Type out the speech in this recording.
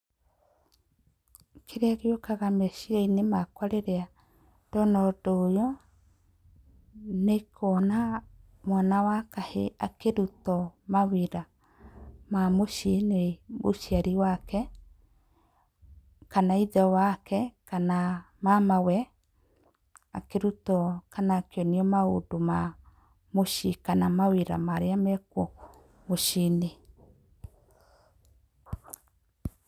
Kĩrĩa gĩũkaga meciriainĩ makwa rĩrĩa ndona ũndũ ũyũ, nĩ kuona mwana wa kahĩĩ akĩrutwo mawĩra ma mũciĩ nĩ mũciari wake, kana ithe wake kana mamawe. Akĩrutwo kana akĩonio maũndũ ma mũciĩ, kana mawĩra marĩa mekuo mũciĩ-inĩ.